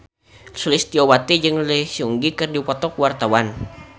Sulistyowati jeung Lee Seung Gi keur dipoto ku wartawan